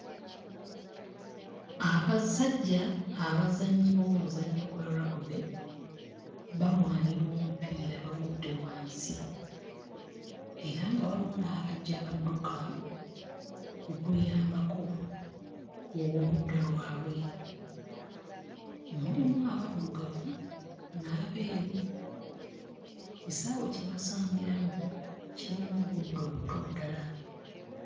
Abasajja abazannyi b'omuzannyo gwa rugby, balwanira omupiira bagudde wansi era nga waliwo n'abajja badduka okuyambako ku w'oludda lwabwe. Mulimu abaddugavu n'abeeru. Ekisaawe kye basambiramu kirimu obuddo buto ddala.